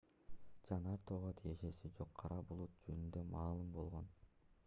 жанар тоого тиешеси жок кара булут жөнүндө маалым болгон